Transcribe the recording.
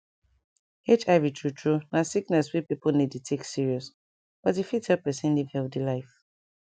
hiv true true na sickness wey pipo no dey take serious but e fit help pesin live healthy life